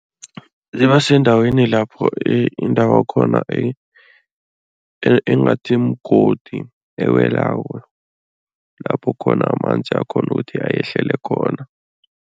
Ziba sendaweni lapho indawakhona engathi mgodi, ewelako, lapho khona amanzi akghone ukuthi ayehlele khona.